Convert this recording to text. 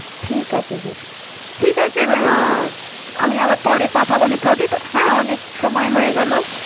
ঠিক আছে বেশ। ঠিক আছে। আমি আবার পরে কথা বলি প্রদীপ। হ্যাঁ। অনেক সময় হয়ে গেল।